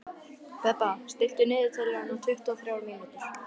Bebba, stilltu niðurteljara á tuttugu og þrjár mínútur.